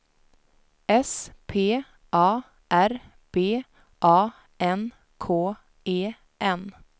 S P A R B A N K E N